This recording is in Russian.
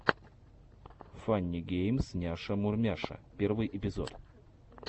фанни геймс няша мурмяша первый эпизод